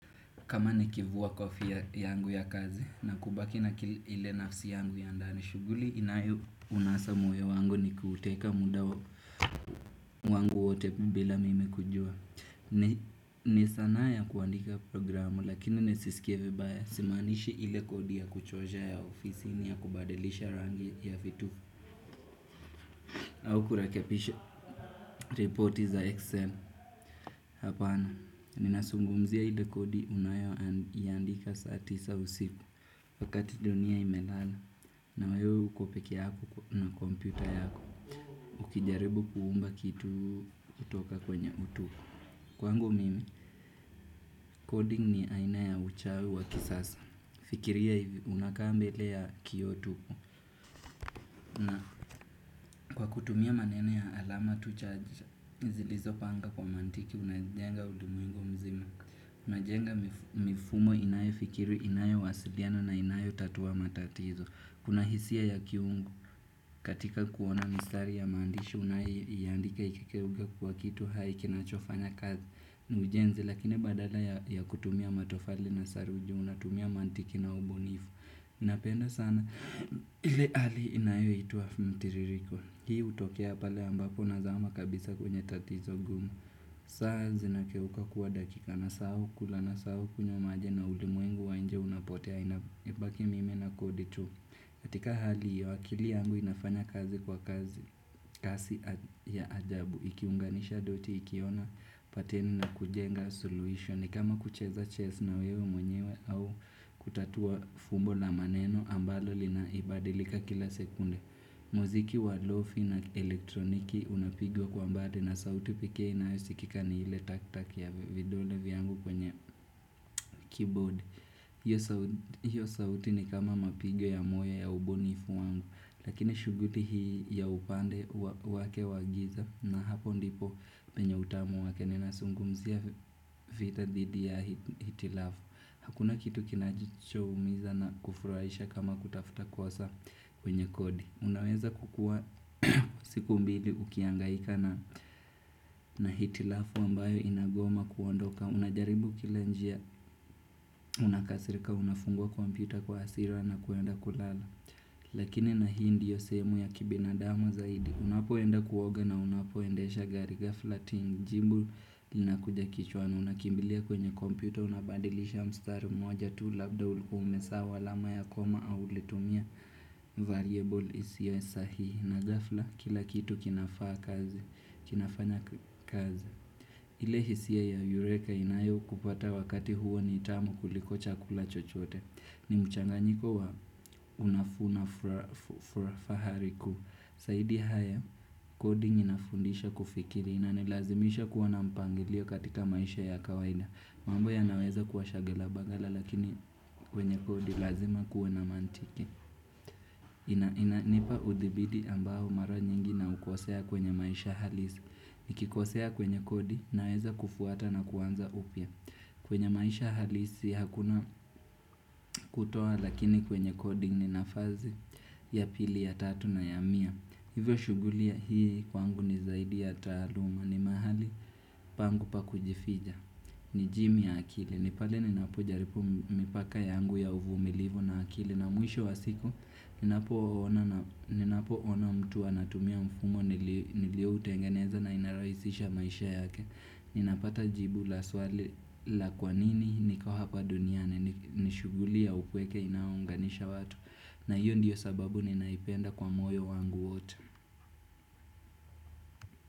Kama nikivuwa kofia yangu ya kazi na kubaki na ile nafsi yangu ya ndani shughuli inayo unasa moyo wangu ni kuuteka muda wangu wote bila mimi kujua. Ni sanaa ya kuandika programu lakini nisisikie vibaya. Si maanishi ile kodi ya kuchosha ya ofisi ni ya kubadilisha rangi ya vitu. Au kurekebisha ripoti za Excel. Hapana, ninazungumzia ile kodi ninayo iandika saa tisa usiku. Wakati dunia imelala na wewe uko pekee yako na kompyuta yako. Ukijaribu kuumba kitu kutoka kwenye utuko. Kwangu mimi, coding ni aina ya uchawi wa kisasa. Fikiria hivi unakaa mbele ya kio tuu. Kwa kutumia maneno ya alama tu chache, zilizo panga kwa mantiki, unazijenga ulimwengu mzima. Unajenga mifumo inayo fikiri, inayo wasiliana na inayo tatuwa matatizo. Kuna hisia ya kiungu katika kuona mistari ya maandishi unayo iandika ikigeuka kuwa kitu hai kinachofanya kazi ni ujenzi. Lakini badala ya kutumia matofali na saruju unatumia mantiki na ubunifu napenda sana ile hali inayoitwa mtiririko. Hii hutokea pale ambapo nazama kabisa kwenye tatizo gumu. Saa zinageuka kuwa dakika na sahau kula nasahau kunywa maji na ulimwengu wa inje unapotea. Inabaki mimi na kodi tu katika hali hio akili yangu inafanya kazi kwa kasi ya ajabu. Ikiunganisha doti ikiona pateni na kujenga solution kama kucheza chess na wewe mwenyewe au kutatua fumbo la maneno ambalo linaibadilika kila sekunde muziki walofi na elektroniki unapigwa kwa mbade. Na sauti pekee inayosikika ni ile taktaki ya vidole vyangu kwenye keyboard. Hiyo sauti ni kama mapigo ya moyo ya ubunifu wangu, lakini shughuli hii ya upande wake wagiza na hapo ndipo penye utamu wake nina zungumzia vita dhidi ya hitilafu. Hakuna kitu kinacho umiza na kufurahisha kama kutafuta kosa kwenye kodi. Unaweza kukua siku mbili ukiangaika na hitilafu ambayo inagoa ama kuondoka. Unajaribu kila njia unakasirika unafunguwa kompyuta kwa asira na kuenda kulala. Lakini na hii ndio sehemu ya kibinadamu zaidi. Unapoenda kuoga na unapoendesha gari ghafla ting jimbul. Inakuja kichwani unakimbilia kwenye kompyuta unabadilisha mstari mmoja tu labda ulikua umesahau alama ya koma au ulitumia variable isio sahihi. Na gafla kila kitu kinafanya kazi. Ile hisia ya yureka inayo kupata wakati huo nitamu kuliko chakula chochote. Ni mchanganyiko wa unafahari ku Saidi haya coding inafundisha kufikiri. Inanilazimisha kuwa na mpangilio katika maisha ya kawaida. Mambo yanaweza kuwa shaghala baghala. Lakini kwenye kodi lazima kuwe na mantiki. Inanipa udhibidi ambao mara nyingi naukosea kwenye maisha halisi. Nikikosea kwenye kodi naeza kufuata na kuanza upya. Kwenye maisha halisi hakuna kutoa. Lakini kwenye kodi ninafasi ya pili ya tatu na ya mia. Hivyo shughuli ya hii kwangu ni zaidi ya taaluma. Ni mahali pangu pa kujificha. Ni jimi ya akili. Nipate ninapo jaribu mipaka yangu ya uvumilivu na akili na mwisho wa siku ninapo ona mtu anatumia mfumo nilio utengeneza na inarahisisha maisha yake. Ninapata jibu la swali la kwanini niko hapa duniane nishughuli ya upweke inayo unganisha watu na hiyo ndiyo sababu ninaipenda kwa moyo wangu watu.